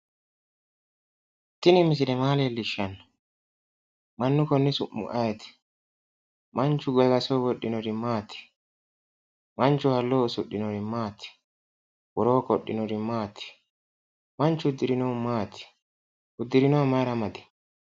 Tini misile maa leellishshanno? Mannu konni su'mi ayeeti? Manchu gagasoho wodhinori maati? Manchu halloho usudhinori maati? Woroo qodhinori maati? Manchu uddirinohu maati? Uddirinoha mayira amadi?